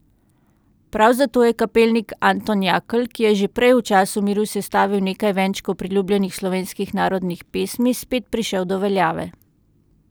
Prav zato je kapelnik Anton Jakl, ki je že prej v času miru sestavil nekaj venčkov priljubljenih slovenskih narodnih pesmi, spet prišel do veljave.